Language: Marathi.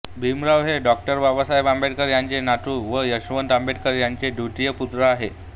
भीमराव हे डॉ बाबासाहेब आंबेडकर यांचे नातू व यशवंत आंबेडकर यांचे द्वितीय पुत्र आहेत